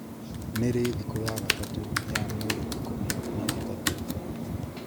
nĩ rĩ, thikũ ya gatatũ ya mweri ikũmi na ĩtatũ?